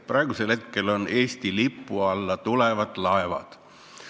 Praegusel hetkel on see huvi Eesti lipu alla tulevad laevad.